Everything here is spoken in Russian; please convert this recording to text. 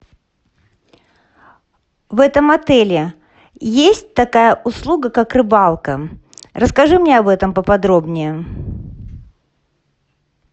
в этом отеле есть такая услуга как рыбалка расскажи мне об этом по подробнее